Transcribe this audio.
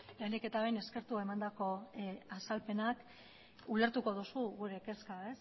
lehenik eta behin eskertu emandako azalpenak ulertuko duzu gure kezka